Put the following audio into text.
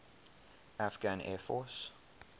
afghan air force